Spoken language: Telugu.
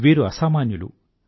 వీరు అసామాన్యులు